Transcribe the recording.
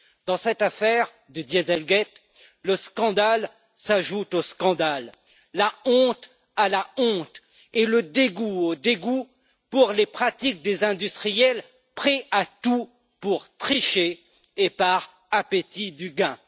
Dans cette affaire du le scandale s'ajoute au scandale, la honte à la honte et le dégoût au dégoût pour les pratiques des industriels prêts à tout pour tricher et par appétit du gain.